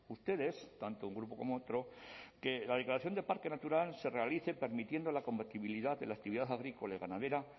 ustedes tanto un grupo como otro que la declaración de parque natural se realice permitiendo la compatibilidad de la actividad agrícola y ganadera